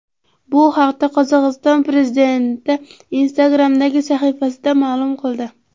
Bu haqda Qozog‘iston prezidenti Instagram’dagi sahifasida ma’lum qildi .